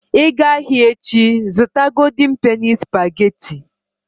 Ị gaa ahịa echi, zụta golden penny spageti.